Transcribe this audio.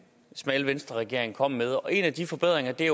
smalle venstreregering kom med og en af de forbedringer er